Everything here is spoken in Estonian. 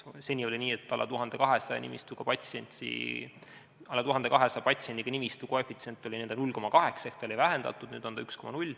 Seni oli nii, et alla 1200 patsiendiga nimistu koefitsient oli 0,8 ehk ta oli vähendatud, nüüd on see 1,0.